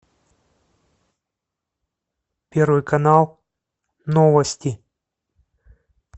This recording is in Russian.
первый канал новости